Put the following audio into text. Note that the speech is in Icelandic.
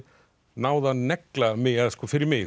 náð að negla mig fyrir mig